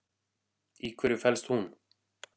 Í hverju felst hún?